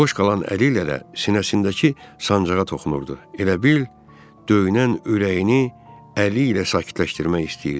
Boş qalan əliylə də sinəsindəki sancığa toxunurdu, elə bil döyünən ürəyini əli ilə sakitləşdirmək istəyirdi.